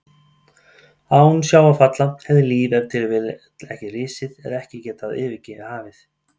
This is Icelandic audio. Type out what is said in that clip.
Án sjávarfalla hefði líf ef til vill ekki risið eða ekki getað yfirgefið hafið.